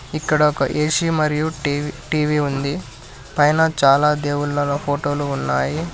ఇక్కడ ఒక ఏ_సీ మరియు టీ_వీ ఉంది పైన చాలా దేవుళ్ళల ఫోటోలు ఉన్నాయి.